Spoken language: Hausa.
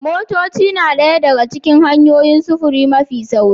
Motoci na ɗaya daga cikin hanyoyin sufuri mafi sauri